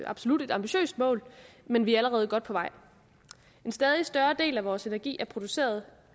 absolut et ambitiøst mål men vi er allerede godt på vej en stadig større del af vores energi er produceret